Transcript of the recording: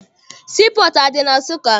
Sii pọọtụ adị na Nsụka?